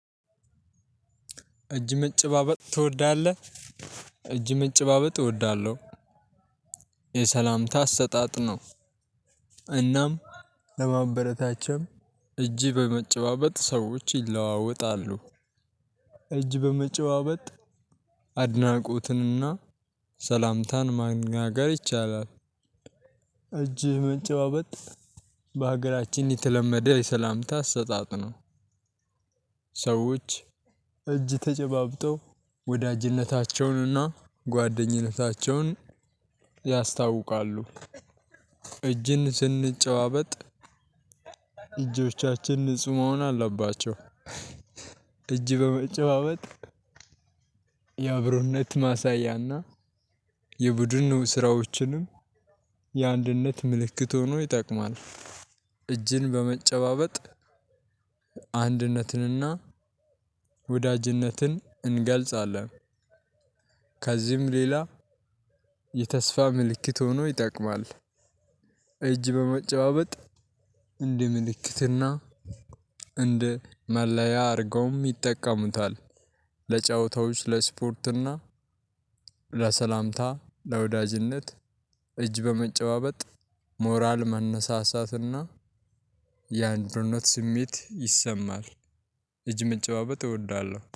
እጅ መጨባበጥ ትወዳለህ እጅ መጨባበጥ እወዳለሁ የሰላምታ አሰጣጥ ነው። እናም ለማበረታቸው እጅ በመጨባበጥ ሰዎች ይለዋወጣሉ እጅ በመጨባበጥ አድናቆትንና ሰላምታን ማናገር ይቻላል። እጅ መጨባበጥ በሀገራችን የተለመደ የሰላምታ አሰጣጥ ነው። ሰዎች እጅ ተጨባብጠው ወዳጅነታቸውንና ጓደኝነታቸውን ያስታውቃሉ። እጅን ስንጨባበጥ እጆቻችን ንጹህ መሆኖ አለባቸው። እጅ በመጨባበጥ ያብሮነት ማሳያና የቡድን ስራዎችንም የአንድነት ምልክት ሆኖ ይጠቅማል። እጅን በመጨባበጥ አንድነትንና ወዳጅነትን እንገልጻለን። ከዚህም ሌላ የተስፋ ምልክት ሆኖ ይጠቅማል። እጅ በመጨባበጥ እንደ ምልክትና እንደ መለያ አድርገውም ይጠቀሙታል። ለጨዋታዎች ለስፖርትና ለሰላምታ ለወዳጅነት እጅ በመጨባበጥ ሞራል መነሳሳትና የአንድነት ስሜት ይሰማል። እጅ መጨባበጥ እወዳለሁ